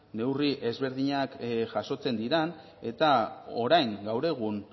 neurri ezberdinak jasotzen diren eta orain gaur egun